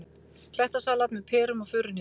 Klettasalat með perum og furuhnetum